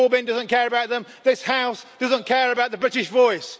Corbyn doesn't care about them, this House doesn't care about the British voice.